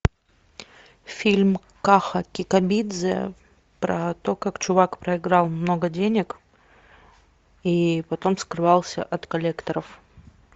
фильм каха кикабидзе про то как чувак проиграл много денег и потом скрывался от коллекторов